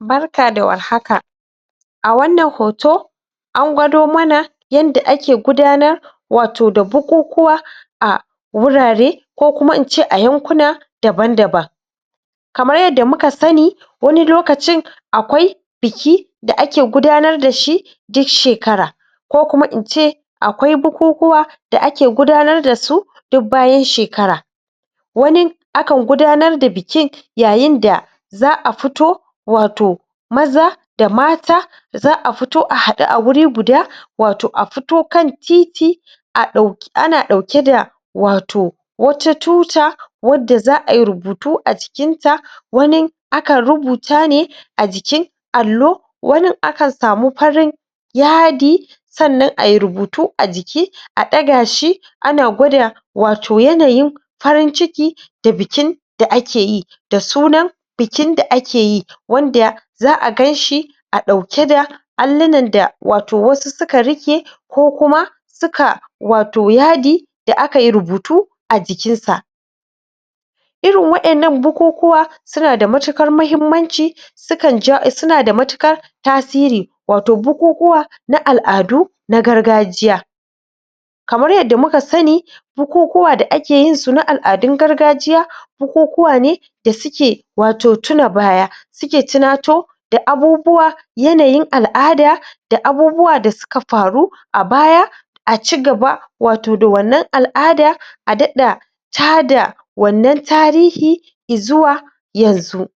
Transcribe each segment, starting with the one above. Barak da war haka! A wannan hoto an gwado mana yanda ake gudanar wato da bukukuwa a wurare ko kuma in ce a yankuna daban-daban. Kamar yadda muka sani wani lokacin akwai biki da ake gudanar da shi duk shekara ko kuma in ce akwai bukukuwa da ake gudanar da su duk bayan shekara Wani, akan gudanar da bikin yayin da za a fito wato maza da mata za a fito a haɗu wuri guda wato a fito kan titi a ɗauki, ana ɗauke da wato wata tuta wadda za a yi rubutu a jikinta wani akan rubuta ne a jikin allo; wanin akan samu farin yadi sannan a yi rubutu a jiki, a ɗaga shi ana gwada wato yanayin farin ciki da bikin da ake yi da sunan bikin da ake yi wanda za a kai shi a ɗauke da allunan da wato wasu suka riƙe ko kuma suka wato yadi da aka yi rubutu a jikinsa Irin waƴannan bukukuwa suna da matuƙar muhimmanci, sukan ja, suna da matuƙar tasiri, wato bukukuwa na al'adu na gargajiya Kamar yadda muka sani, bukukuwa da ake yinsu na al'adun gargajiya bukukuwa ne da suke wato tuna baya suke tunato da abubuwa yanayin al'ada da abubuwa da suka faru a baya a ci gaba wato da wannan al'ada, a daɗa tada wannan tarihi i zuwa yanzu.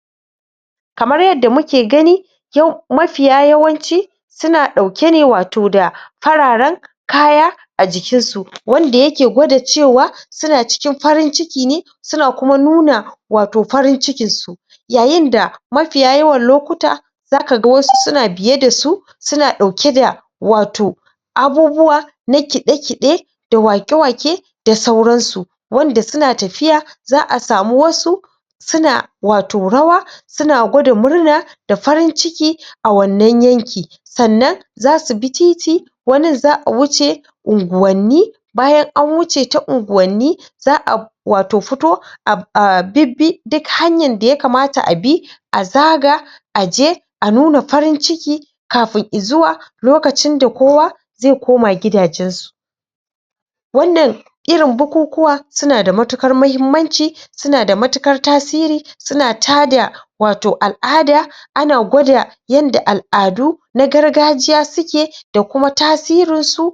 Kamar yadda muke gani yau mafiya yawanci suna ɗauke ne wato da fararwen kaya a jikinsu wanda yake gwada cewa suna cikin farin ciki ne, suna kuma nuna wato farin cikinsu yayin da mafiya yawan lokuta za ka ga wasu suna biye da su, suna ɗauke da wato abubuwa na kiɗe-kiɗe da waƙe-waƙe da sauransu wanda suna tafiya, za a samu wasu suna wato rawa, suna gwada murna da farin ciki a wannan yanki. Sannan za su bi titi, wanin za a wuce unguwanni, bayan an wuce ta unguwanni za a wato fito a bibbi duk hanyan da ya kamata a bi, a zaga a je a nuna fari ciki kafin i zuwa lokacin da kowa zai koma gidajensu. Wannan irin bukukuwa suna da matuƙar muhimmanci, suna da matuƙar tasiri, suna tada wato al'ada, ana gwada yanda al'adu na gargajiya suke da kuma tasirinsu